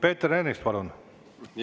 Peeter Ernits, palun!